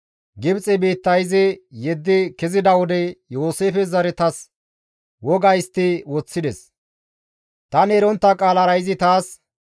Gibxe biitta izi yeddi kezida wode Yooseefe zaretas woga histti woththides; tani erontta qaalara izi taas,